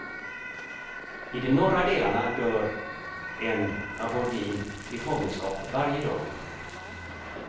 I de norra delarna dör en aborigin i fångenskap varje dag.